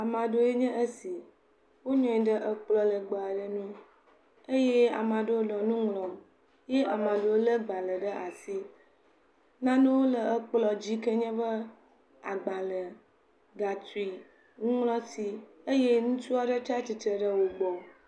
Ame aɖewo nye esi, wonɔ anyi ɖe ekplɔ legbe aɖe ŋu eye ame aɖewo nu ŋlɔm, ye amea ɖewo lé gbalẽ ɖe asi, nanewo le ekplɔ dzi, eyike nye be agbalẽ, gatsri, nuŋlɔti eye ŋutsu aɖe tsatsitre ɖe wo gbɔ.